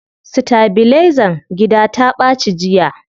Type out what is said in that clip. Sitabilizan gida ta ɓaci jiya.